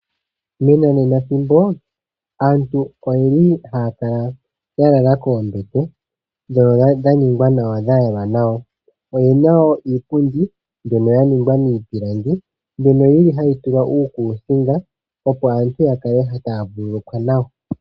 Menanenathimbo, aantu oyeli haya kala yalala koombete ndhono dha ningwa nawa dha yalwa nawa. Oyena woo iipundi mbyono yaningwa miipilangi mbyono yili hayi tulwa uukusinga opo aantu yakale taya vululukwa nawa.